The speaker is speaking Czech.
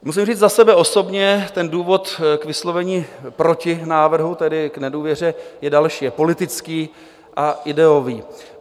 Musím říct za sebe osobně: ten důvod k vyslovení proti návrhu, tedy k nedůvěře, je další, je politický a ideový.